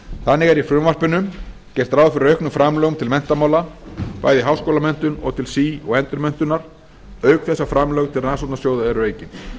þannig er í frumvarpinu gert ráð fyrir auknum framlögum til menntamála bæði í háskólamenntun og til sí og endurmenntunar auk þess að framlög til rannsóknarsjóða eru aukin